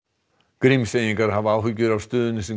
Grímseyingar hafa áhyggjur af stöðunni sem